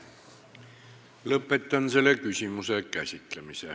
Lõpetan selle küsimuse käsitlemise.